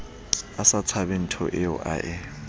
a sa tsebenthoeo a e